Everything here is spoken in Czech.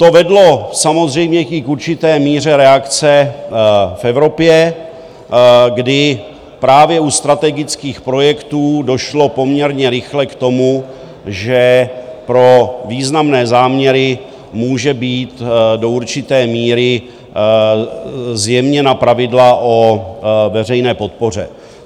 To vedlo samozřejmě i k určité míře reakce v Evropě, kdy právě u strategických projektů došlo poměrně rychle k tomu, že pro významné záměry můžou být do určité míry zjemněna pravidla o veřejné podpoře.